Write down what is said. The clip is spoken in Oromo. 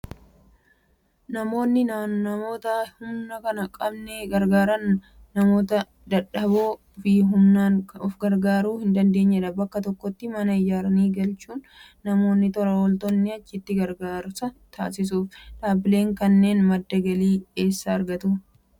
Namoonni namoota humna hin qabne gargaaran namoota dadahboo fi humnaan of gargaaruu hin dandeenye bakka tokkotti mana ijaaranii galchuun namoonni tola ooltonni achitti gargaarsa taasisuuf. Dhaabbileen akkanaa madda galii eessaa argatuu?